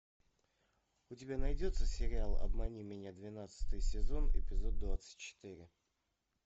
у тебя найдется сериал обмани меня двенадцатый сезон эпизод двадцать четыре